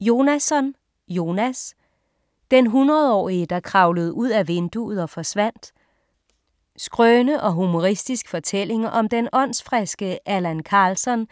Jonasson, Jonas: Den hundredårige der kravlede ud ad vinduet og forsvandt Skrøne og humoristisk fortælling om den åndsfriske Allan Karlsson